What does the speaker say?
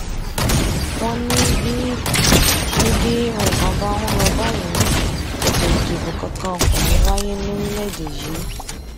wọn ní bí ní bí nǹkan bá ń lọ báyìí ètò ìdìbò kankan kò ní í wáyé lórílẹèdè yìí